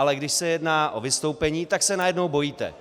Ale když se jedná o vystoupení, tak se najednou bojíte.